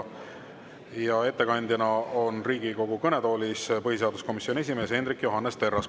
Ja ettekandeks on Riigikogu kõnetoolis põhiseaduskomisjoni esimees Hendrik Johannes Terras.